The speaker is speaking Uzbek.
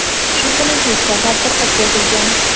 shu kuni tezkor tadbir o‘tkazilgan.